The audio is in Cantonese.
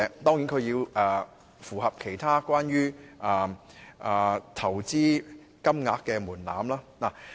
當然，公司也要符合其他有關投資金額的門檻。